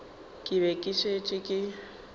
ke be ke šetše ke